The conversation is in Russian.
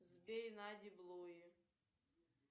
сбей нади блуи